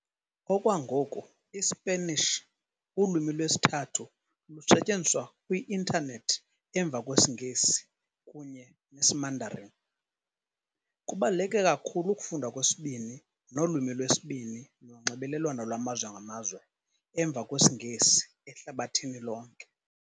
Okwangoku, iSpanish ulwimi lwesithathu lusetyenziswa kwi Internet emva kwesiNgesi kunye nesiMandarin. Kubaluleke kakhulu ukufundwa kwesibini nolwimi lwesibini nonxibelelwano lwamazwe ngamazwe, emva kwesiNgesi, ehlabathini lonke.